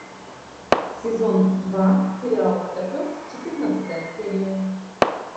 сезон два сериал котопес четырнадцатая серия